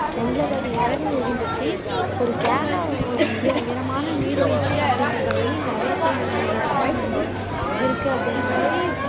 எண்பது அடி உயரம் இருந்துச்சு ஒரு கேரளால உள்ள ஒரு உயரமான நீர்வீழ்ச்சி அப்படிங்குறது வந்து இந்த அதிரப்பள்ளி நீர்வீழ்ச்சி தான் வந்து இருக்கு அப்படின்னாங்க